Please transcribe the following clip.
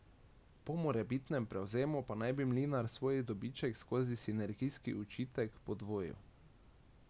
Po morebitnem prevzemu pa naj bi Mlinar svoj dobiček skozi sinergijski učitek podvojil.